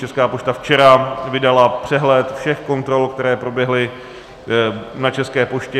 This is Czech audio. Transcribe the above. Česká pošta včera vydala přehled všech kontrol, které proběhly na České poště.